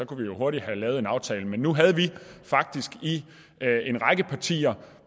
kunne vi hurtigt have lavet en aftale men nu havde vi faktisk i en række partier